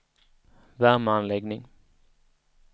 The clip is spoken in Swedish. värmeanläggning